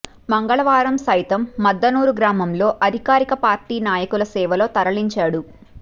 మంగళవారం సైతం ముద్దనూరు గ్రామంలో అధికార పార్టీ నాయకుల సేవలో తరించాడు